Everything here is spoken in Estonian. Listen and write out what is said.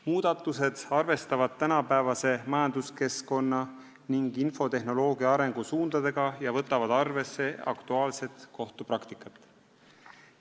Muudatused arvestavad tänapäevase majanduskeskkonna ja infotehnoloogia arengusuundi ning aktuaalset kohtupraktikat.